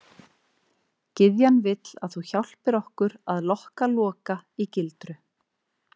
Gyðjan vill að þú hjálpir okkur að lokka Loka í gildru.